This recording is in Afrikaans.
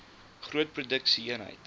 groot produksie eenhede